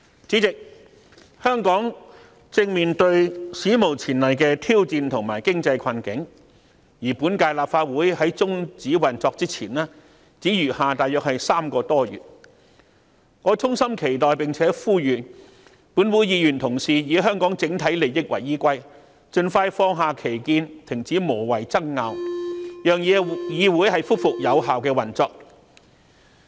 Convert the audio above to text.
主席，香港正面對史無前例的挑戰及經濟困境，今屆立法會在終止運作前，只餘下約3個多月，我衷心期待並呼籲本會議員同事以香港整體利益為依歸，盡快放下歧見，停止無謂的爭拗，讓議會恢復有效的運作。